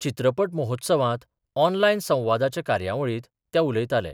चित्रपट महोत्सवात ऑनलायन संवादाच्या कार्यावळीत ते उलयतालें.